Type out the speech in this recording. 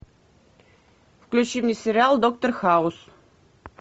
включи мне сериал доктор хаус